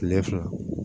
Kile fila